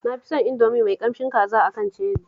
Na fi son Indomie mai ƙamshin kaza a kan Cherry